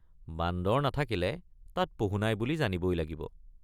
বান্দৰ নাথাকিলে তাত পহু নাই বুলি জানিবই লাগিব।